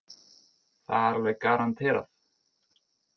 Það er alveg garanterað.